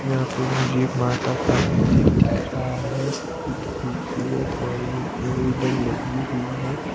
यहां पे मुझे एक माता का मंदिर दिख रहा है बहुत खूबसूरत और इसमें वूडन लगी हुई है।